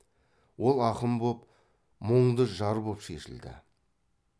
ол ақын боп мұңды жар боп шешілді